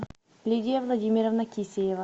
лидия владимировна кисеева